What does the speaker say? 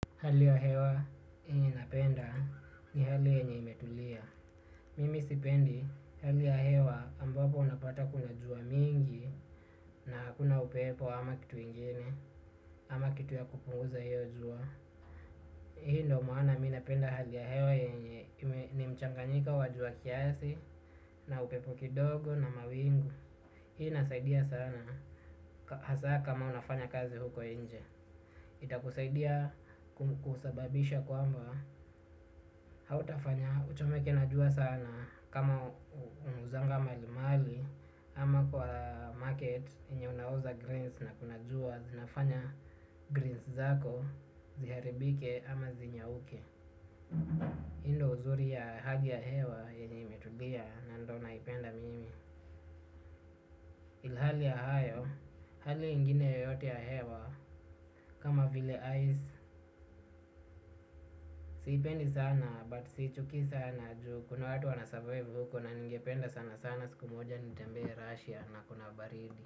Hali ya hewa yenye napenda ni hali yenye imetulia. Mimi sipendi hali ya hewa ambapo unapata kuna jua mingi na hakuna upepo ama kitu ingine ama kitu ya kupunguza hiyo jua. Hii ndo maana mi napenda hali ya hewa yenye ni mchanganyiko wa jua kiasi na upepo kidogo na mawingu. Hii inasaidia sana hasa kama unafanya kazi huko nje. Ita kusaidia kusababisha kwamba hautafanya uchomeke na jua sana kama unauzanga mali mali ama kwa market yenye unauza greens na kunajua zinafanya greens zako ziharibike ama zinyauke hii ndo uzuri ya hali ya hewa yenye imetulia na ndo naipenda mimi ilhali ya hayo, hali ingine yoyote ya hewa kama vile ais, sipendi sana bat sichukii sana juu kuna watu wanasavaiv huko na ningependa sana sana siku moja nitembee Russia na kuna baridi.